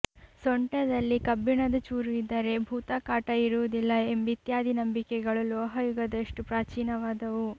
ಸೊಂಟದಲ್ಲಿ ಕಬ್ಬಿಣದ ಚೂರು ಇದ್ದರೆ ಭೂತ ಕಾಟ ಇರುವುದಿಲ್ಲ ಎಂಬಿತ್ಯಾದಿ ನಂಬಿಕೆಗಳು ಲೋಹ ಯುಗದಷ್ಟು ಪ್ರಾಚೀನವಾದವು